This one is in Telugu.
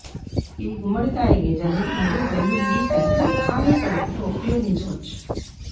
ఇది గుమ్మడికాయ గింజలు మరియు వెల్లుల్లి కలిపి ఖాళీ కడుపుతో ఉపయోగించవచ్చు